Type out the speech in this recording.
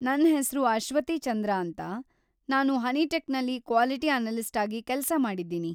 ನನ್‌ ಹೆಸ್ರು ಅಶ್ವತಿ ಚಂದ್ರ ಅಂತ, ನಾನು ಹನಿಟೆಕ್‌ನಲ್ಲಿ ಕ್ವಾಲಿಟಿ ಅನಲಿಸ್ಟ್‌ ಆಗಿ ಕೆಲ್ಸ ಮಾಡಿದ್ದೀನಿ.